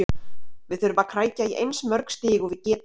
Við þurfum að krækja í eins mörg stig og við getum.